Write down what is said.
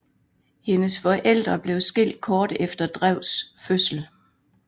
Hendes forældre blev skilt kort efter Drews fødsel